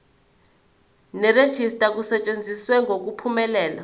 nerejista kusetshenziswe ngokuphumelela